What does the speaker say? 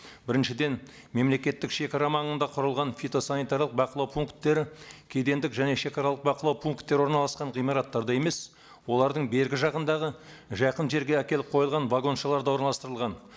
біріншіден мемлекеттік шегара маңында құрылған фитосанитарлық бақылау пункттері кедендік және шагаралық бақылау пункттері орналасқан ғимараттарда емес олардың бергі жағындағы жақын жерге әкеліп қойылған вагоншаларда орналастырылған